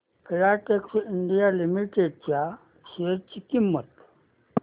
Filatex India Limited च्या share ची किंमत